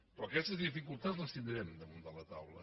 però aquestes dificultats les tindrem damunt la taula